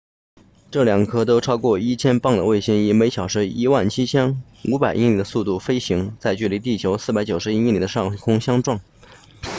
这两颗都超过 1,000 磅的卫星以每小时 17,500 英里的速度飞行在距离地球491英里的上空相撞